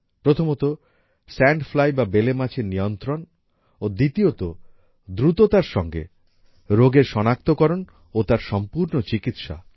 প্রথমত sand fly বা বেলে মাছির নিয়ন্ত্রণ ও দ্বিতীয়তঃ দ্রুততার সঙ্গে রোগের সনাক্তকরণ ও তার সম্পূর্ণ চিকিৎসা